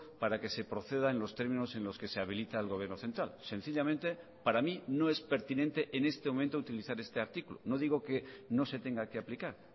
para que se proceda en los términos en los que se habilita el gobierno central sencillamente para mí no es pertinente en este momento utilizar este artículo no digo que no se tenga que aplicar